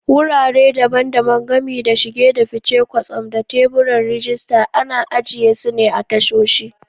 Wurare daban-daban, gami da shige da fice, kwastam, da teburan rajista, ana ajiye su a tashoshi.